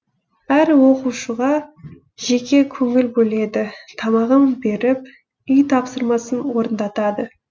әр оқушыға жеке көңіл бөледі тамағын беріп үй тапсырмасын орындатады